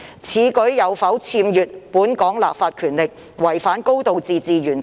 此舉有否僭越本港立法權力，違反"高度自治"原則？